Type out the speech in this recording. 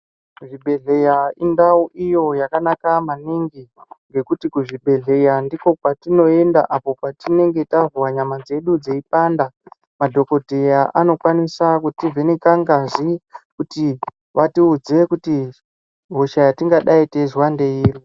Zvibhedhleya indau iyo yakanaka maningi ngekuti kuzvibhedhleya ndiko kwatinoyenda apo patinenge tahwa nyama dzedu dzeyipanda. Madhokodheya anokwanisa kutivheneka ngazi kuti vatiudze kuti hosha yatingadai teyizva ndeyiri.